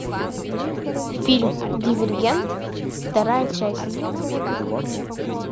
фильм дивергент вторая часть